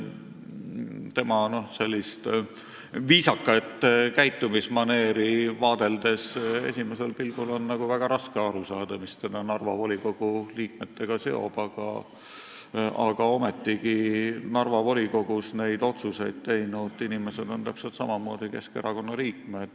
Tema viisakat käitumismaneeri vaadeldes on esimesel pilgul väga raske aru saada, mis teda Narva volikogu liikmetega seob, aga ometigi Narva volikogus neid otsuseid teinud inimesed on täpselt samamoodi Keskerakonna liikmed.